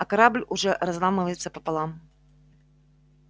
а корабль уже разламывается пополам